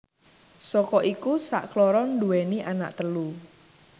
Saka iku sakloron nduwèni anak telu